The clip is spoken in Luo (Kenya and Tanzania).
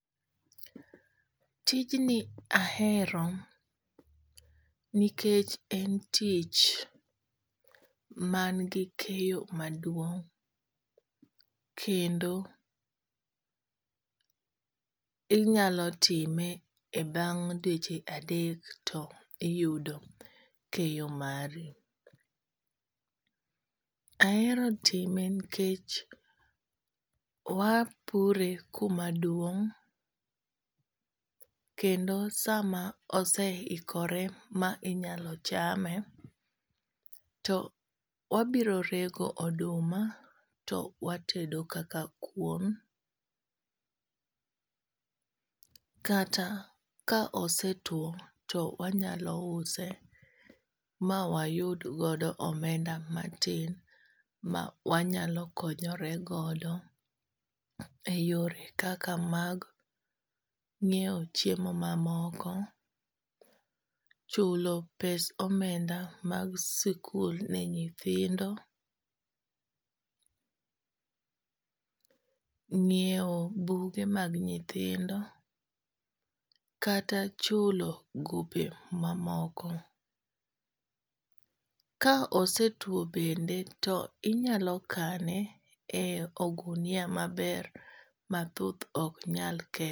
Tijni ahero nikech en tich man gi keyo maduong' kendo inyalo time e bang' dweche adek to iyudo keyo mari. Ahero time nikech wapure kuma duong' kendo sama osehikore ma inyalo chame to wabiro rego oduma to watedo kaka kuon. Kata ka ose tuo to wanyalo use ma wayud godo omenda matin ma wanyalo konyoregodo e yore kaka mag nyiew chiemo mamoko, chulo pes omenda mag sikul ne nyithindo, ng'iew buge mag nyithindo. Kata chulo gope mamoko. Ka osetuo bende to inyalo kane e ogunia maber ma thuth ok nyal kethe.